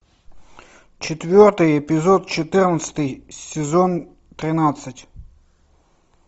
четвертый эпизод четырнадцатый сезон тринадцать